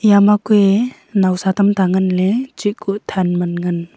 ema kuiye nowsa tamta nganle chaku than man ngan.